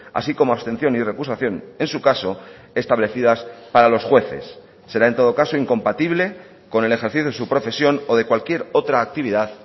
así como abstención y recusación en su caso establecidas para los jueces será en todo caso incompatible con el ejercicio de su profesión o de cualquier otra actividad